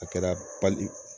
A kɛra